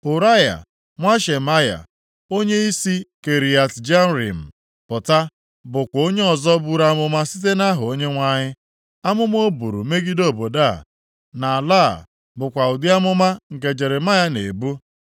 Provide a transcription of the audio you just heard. (Ụraya nwa Shemaya, onye si Kiriat Jearim pụta, bụkwa onye ọzọ buru amụma site nʼaha Onyenwe anyị. Amụma o buru megide obodo a na ala a bụkwa ụdị amụma nke Jeremaya na-ebu.